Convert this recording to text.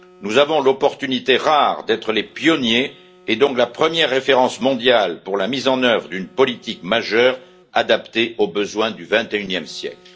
Nous avons l'opportunité rare d'être les pionniers et donc la première référence mondiale pour la mise en œuvre d'une politique majeure adaptée aux besoins du 21e siècle.